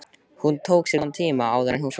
Hún tók sér góðan tíma áður en hún svaraði.